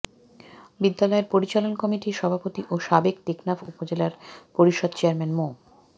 বিদ্যালয় পরিচালনা কমিটির সভাপতি ও সাবেক টেকনাফ উপজেলা পরিষদ চেয়ারম্যান মো